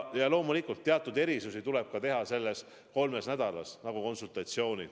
Ja loomulikult, teatud erisusi tuleb teha ka selle kolme nädala ajal, näiteks konsultatsioonid.